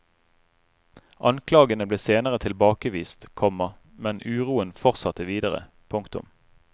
Anklagene ble senere tilbakevist, komma men uroen fortsatte videre. punktum